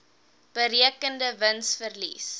berekende wins verlies